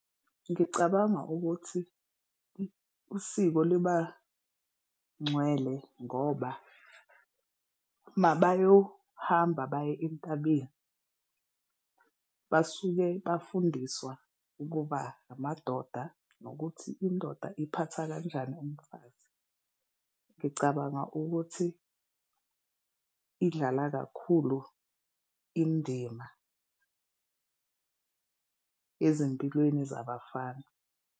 Ngicabanga ukuthi usiko liba ngcwele ngoba uma bayohamba baye entabeni, basuke bafundiswa ukuba amadoda nokuthi indoda iphatha kanjani umfazi. Ngicabanga ukuthi idlala kakhulu indima ezimpilweni zabafana.